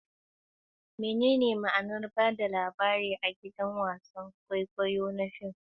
Menene ma'anar ba da labari a gidan wasan kwaikwayo da fim?